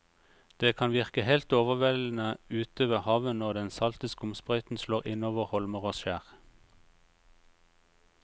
Det kan virke helt overveldende ute ved havet når den salte skumsprøyten slår innover holmer og skjær.